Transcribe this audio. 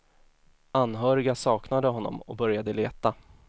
Anhöriga saknade honom och började leta.